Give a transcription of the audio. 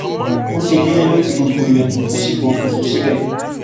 bó ṣe délé ló ti gbogbo ilẹkùn tó sì pokùnso síbẹ